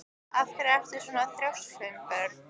Af hverju ertu svona þrjóskur, Sveinborg?